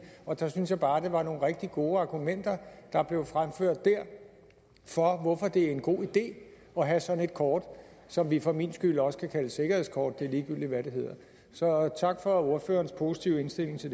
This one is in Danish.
og der synes jeg bare det var nogle rigtig gode argumenter der blev fremført for hvorfor det er en god idé at have sådan en kort som vi for min skyld også kan kalde et sikkerhedskort det er ligegyldigt hvad det hedder så tak for ordførerens positive indstilling til